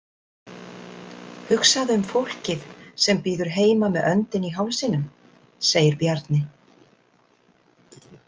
Hugsaðu um fólkið sem bíður heima með öndina í hálsinum, segir Bjarni.